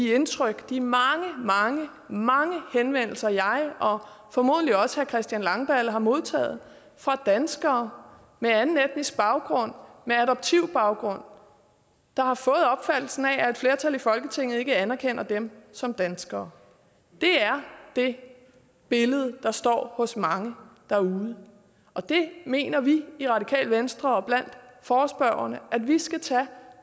indtryk fra de mange mange mange henvendelser jeg og formodentlig også herre christian langballe har modtaget fra danskere med anden etnisk baggrund med adoptivbaggrund der har fået opfattelsen af at et flertal i folketinget ikke anerkender dem som danskere det er det billede der står hos mange derude og det mener vi i radikale venstre og blandt forespørgerne at vi skal tage